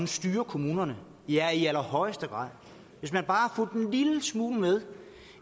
styre kommunerne ja i allerhøjeste grad hvis man bare har fulgt en lille smule med